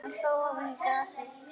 Hann hló ofan í grasið.